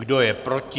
Kdo je proti?